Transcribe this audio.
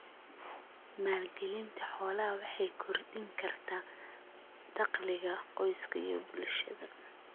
Maalgelinta xoolaha waxay kordhin kartaa dakhliga qoyska iyo bulshada.